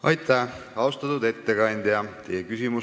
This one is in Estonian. Aitäh, austatud ettekandja!